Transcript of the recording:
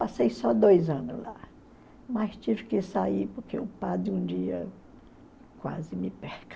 Passei só dois anos lá, mas tive que sair porque o padre um dia quase me